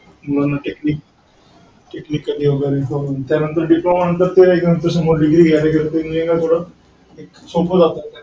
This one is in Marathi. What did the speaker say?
technic technically